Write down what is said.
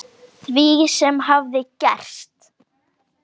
Því sem hafði gerst.